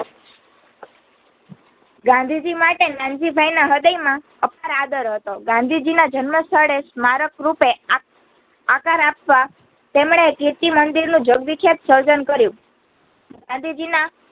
ગાંધીજીમાટે નાનજીભાઈન હ્રદય માં અપાર આદર હતો. ગાંધીજીના જન્મસ્થળે સ્મરરૂપે આક આકાર આપતા તેમણે કીર્તિમંદિરનું જગવિખ્યાત સર્જન કર્યું